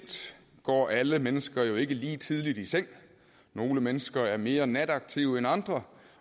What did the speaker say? går alle mennesker jo ikke lige tidligt i seng nogle mennesker er mere nataktive end andre